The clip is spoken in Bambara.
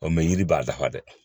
Ɔ mɛ yiri b'a dafa dɛ